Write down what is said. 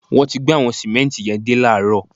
Wọ́n ti gbé àwọn sìmẹ́ǹtì yẹn dé láààrọ̀